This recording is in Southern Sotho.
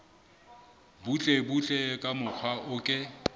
butlebutle ka mokgwa o ke